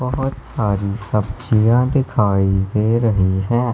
बहोत सारी सब्जियां दिखाई दे रही हैं।